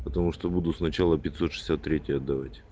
потому что буду сначала пятьсот шестьдесят третий отдавать